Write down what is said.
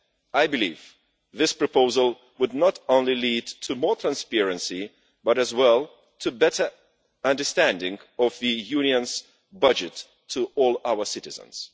I believe this proposal would not only lead to more transparency, but, as well, a better understanding of the Union's budget to all our citizens.